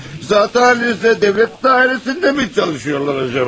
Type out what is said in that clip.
Sizdə dövlət dairəsindəmi çalışıyorsunuz acaba?